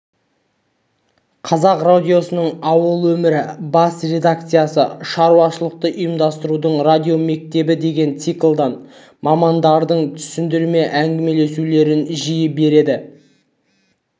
қазақ радиосының ауыл өмірі бас редакциясы шаруашылықты ұйымдастырудың радиомектебі деген циклдан мамандардың түсіндірме әңгімелесулерін жиі береді